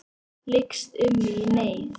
Lykst um mig í neyð.